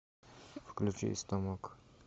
включи истомок